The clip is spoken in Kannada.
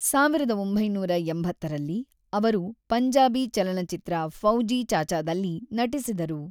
ಸಾವಿರದ ಒಂಬೈನೂರ ಎಂಬತ್ತರಲ್ಲಿ, ಅವರು ಪಂಜಾಬಿ ಚಲನಚಿತ್ರ ಫೌಜಿ ಚಾಚಾದಲ್ಲಿ ನಟಿಸಿದರು.